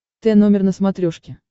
т номер на смотрешке